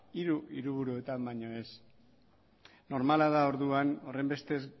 hiru hiriburuetan baino ez normala da orduan horrenbestez